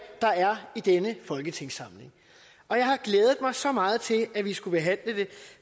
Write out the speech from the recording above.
der er i denne folketingssamling og jeg har glædet mig så meget til at vi skulle behandle det